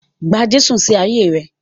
Gba Jésù sí ayé rẹ.